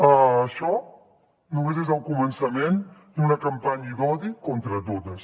això només és el començament d’una campanya d’odi contra totes